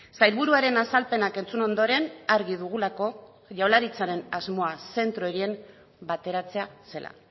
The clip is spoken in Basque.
sailburuaren azalpenak entzun ondoren argi dugulako jaurlaritzaren asmoa zentro horien bateratzea zela